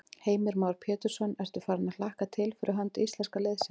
Heimir Már Pétursson: Ertu farin að hlakka til fyrir hönd íslenska liðsins?